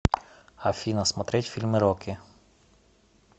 афина смотреть фильмы рокки